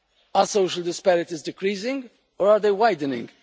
Are social disparities decreasing, or are they widening?